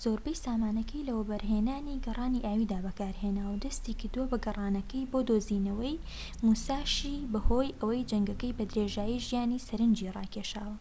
زۆربەی سامانەکەی لە وەبەرهێنانی گەڕانی ئاویدا بەکارهێناوە و دەستی کردووە بە گەڕانەکەی بۆ دۆزینەوەی موساشی بەهۆی ئەوەی جەنگەکە بە درێژایی ژیانی سەرەنجی ڕاکێشاوە